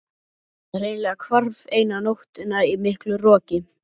Það hreinlega hvarf eina nóttina í miklu roki.